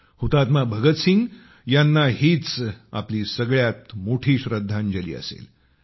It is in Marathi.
शहीद भगतसिंग यांना हीच आपली सगळ्यात मोठी श्रद्धांजली असेल